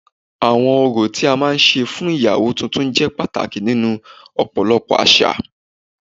Awọn orò tí a máa ń ṣe fún iyawo tuntun jẹ pàtàkì nínú ọ̀pọ̀lọpọ̀ àṣà